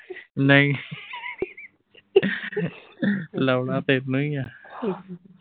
ਨਹੀਂ, ਲਾਉਣਾ ਤੈਨੂੰ ਈ ਆ।